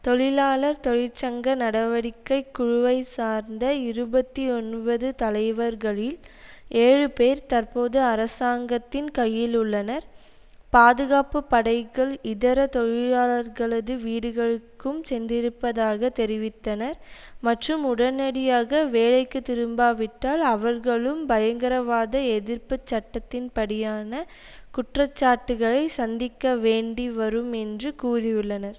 தொழிலாளர் தொழிற்சங்க நடவடிக்கை குழுவை சார்ந்த இருபத்தி ஒன்பது தலைவர்களில் ஏழு பேர் தற்போது அரசாங்கத்தின் கையில் உள்ளனர் பாதுகாப்புப்படைகள் இதர தொழிலாளர்களது வீடுகளுக்கும் சென்றிருப்பதாக தெரிவித்தனர் மற்றும் உடனடியாக வேலைக்கு திரும்பாவிட்டால் அவர்களும் பயங்கரவாத எதிர்ப்பு சட்டத்தின்படியான குற்றச்சாட்டுக்களை சந்திக்க வேண்டி வரும் என்று கூறியுள்ளனர்